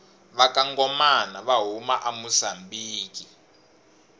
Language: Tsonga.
vakangomana vahhuma amusambiki